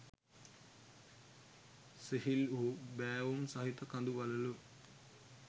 සිහිල් වූ බෑවුම් සහිත කඳු වළලු